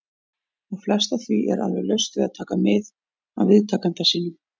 . og flest af því er alveg laust við að taka mið af viðtakanda sínum.